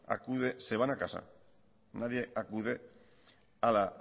se va a casa nadie acude a la